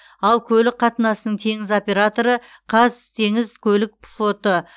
ал көлік қатынасының теңіз операторы қазтеңізкөлікфлоты